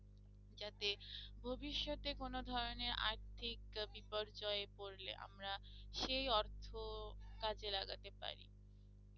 যাতে ভবিষ্যতে কোনো ধরণের আর্থিক আহ বিপর্যয়ে পড়লে আমরা সেই অর্থ কাজে লাগাতে পারি